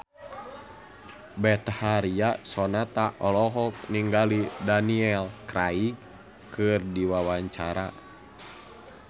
Betharia Sonata olohok ningali Daniel Craig keur diwawancara